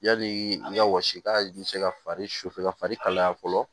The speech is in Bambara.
Yali i ka wasi k'a bɛ se ka fari su fɛ ka fari kalaya fɔlɔ